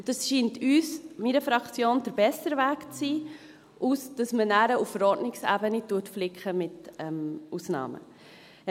Und das scheint meiner Fraktion der bessere Weg zu sein, als dass man nachher auf Verordnungsebene mit Ausnahmen flickt.